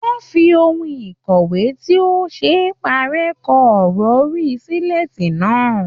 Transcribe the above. Wọ́n fi ohun ìkọ̀wé tí ò ṣe é párẹ́ kọ ọ̀rọ̀ orí sílètì náà.